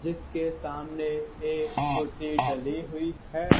जिसके सामने एक कुर्सी डली हुई है।